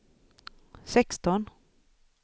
sexton